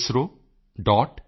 ISRO